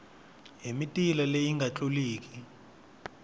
hi mitila leyi nga tluliki